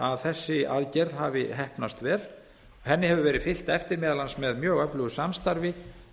að þessi aðgerð hafi heppnast vel henni hefur verið fylgt eftir meðal annars með mjög öflugu samstarfi